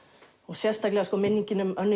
sérstaklega minningin um Önnu